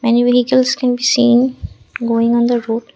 any vehicles can seeing going on the road.